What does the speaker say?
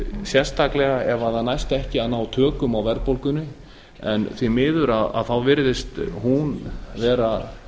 sérstaklega ef það næst ekki að ná tökum á verðbólgunni en því miður virðist hún ekki vera